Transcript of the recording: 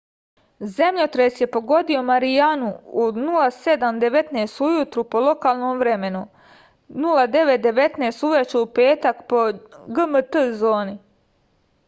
земљотрес је погодио маријану у 07:19 ујутру по локалном времену 09:19 увече у петак по gmt зони